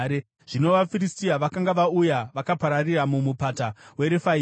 Zvino vaFiristia vakanga vauya vakapararira muMupata weRefaimi.